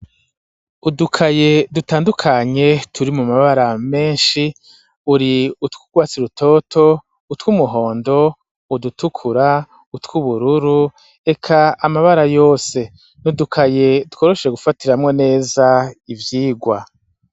Udukaye dutandukanye turi mu mabara menshi uri utwugwasirutoto utw'umuhondo udutukura utw'ubururu eka amabara yose n'udukaye dukorosheje gufatiramwo neza ibyigwa.